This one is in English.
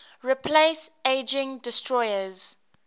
replace aging destroyers